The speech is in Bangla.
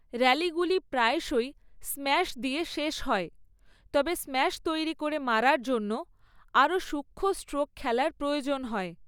র‍্যালিগুলি প্রায়শই স্ম্যাশ দিয়ে শেষ হয়, তবে স্ম্যাশ তৈরী করে মারার জন্য আরও সূক্ষ্ম স্ট্রোক খেলার প্রয়োজন হয়।